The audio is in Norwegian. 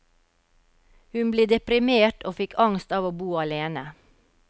Hun ble deprimert, og fikk angst av å bo alene.